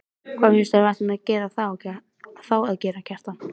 Hvað finnst þér að við ættum þá að gera, Kjartan?